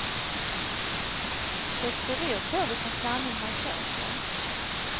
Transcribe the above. Det beror på vilken sanning man söker.